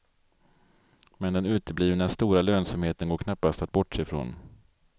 Men den uteblivna stora lönsamheten går knappast att bortse ifrån.